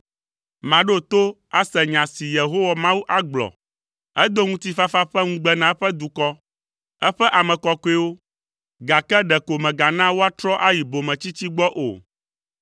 Maɖo to ase nya si Yehowa Mawu agblɔ; edo ŋutifafa ƒe ŋugbe na eƒe dukɔ, eƒe ame kɔkɔewo, gake ɖeko mègana woatrɔ ayi bometsitsi gbɔ o.